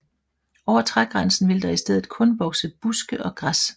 Over trægrænsen vil der i stedet kun vokse buske og græs